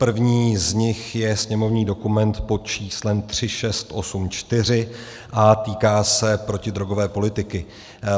První z nich je sněmovní dokument pod číslem 3684 a týká se protidrogové politiky.